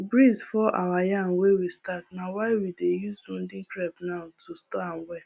breeze fall our yam wey we stack na why we dey use wooden crib now to store am well